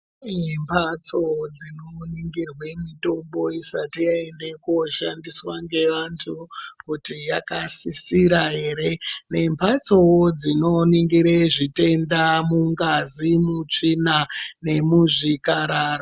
Kune mhatso dzinoningirwa mitombo isati yaende koshandiswa ngeantu kuti yakasisira ere nemhatsowo dzinoningire zvitenda mungazi mutsvina nemuzvikararwa.